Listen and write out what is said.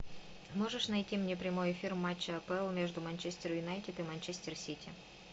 можешь найти мне прямой эфир матча апл между манчестер юнайтед и манчестер сити